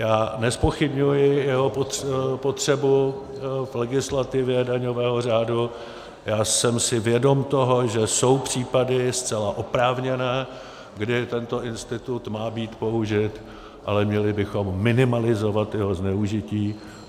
Já nezpochybňuji jeho potřebu v legislativě daňového řádu, já jsem si vědom toho, že jsou případy, zcela oprávněné, kdy tento institut má být použit, ale měli bychom minimalizovat jeho zneužití.